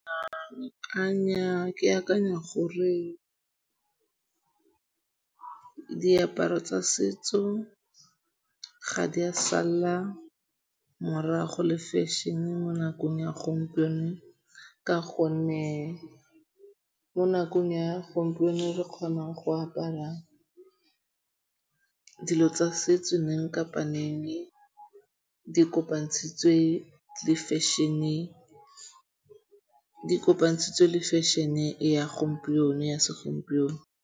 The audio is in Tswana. A nnyaa ke akanya gore diaparo tsa setso ga di a salla morago le fashion-e mo nakong ya gompieno ka gonne mo nakong ya gompieno re kgona go apara dilo tsa setso neng kapa neng di kopantshitswe le fashion-e ya segompieno.